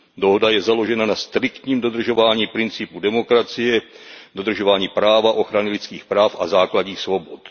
Dohoda je založena na striktním dodržování principů demokracie, dodržování práva, ochrany lidských práv a základních svobod.